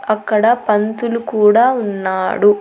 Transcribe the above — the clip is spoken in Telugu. అక్కడ పంతులు కూడా ఉన్నాడు.